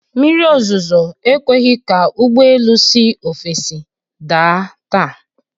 Mmiri ozuzo ekweghi ka ụgbọelu si ofesii da taa.